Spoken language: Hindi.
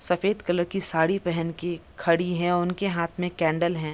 सफ़ेद कलर की साड़ी पहेन के खड़ी हैं उनके हाथ में कैंडल है।